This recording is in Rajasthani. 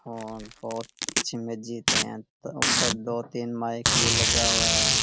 और बहुत अच्छी मज्जिद है यहां पे तो ऊपर दो तीन माइक भी लगा हुआ है।